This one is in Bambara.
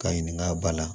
Ka ɲininka a ba la